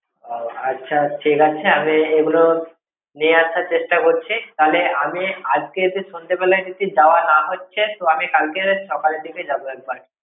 আচ্ছা ঠিক আছে, আমি এগুলো নিয়ে আসার চেষ্টা করছি। তাহলে আমি আজকে এসে সন্ধ্যেবেলায় যদি দেওয়া না হচ্ছে, তো আমি কালকে সকালের দিকে যাবো একবার।